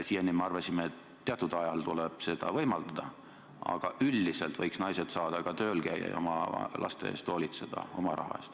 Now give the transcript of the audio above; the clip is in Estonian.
Siiani me arvasime, et teatud ajal tuleb seda võimaldada, aga üldiselt võiks naised saada ka tööl käia ja oma laste eest hoolitseda oma raha eest.